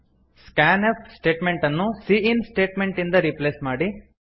scan F statement ಅನ್ನು ಸಿಇನ್ statement ಇಂದ ರಿಪ್ಲೇಸ್ ಮಾಡಿ